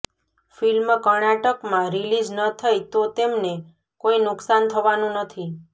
film કર્ણાટકમાં release ન થઈ તો તેમને કોઈ નુકસાન થવાનું નથી